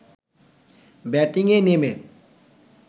ব্যাটিংয়ে নেমে